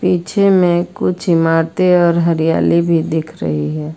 पीछे में कुछ ईमारतें और हरियाली भी दिख रही है।